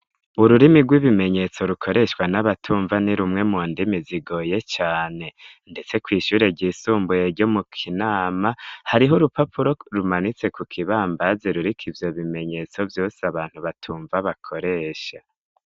Ururimi rw'ibimenyetso rukoreshwa n'abatumva ni rumwe mu ndimi zigoye cane, ndetse kw'ishure ryisumbuye ryo mu kinama hariho urupapuro rumanitse ku kibambazi rurika ivyo bimenyetso vyose abantu batumva bakoresha.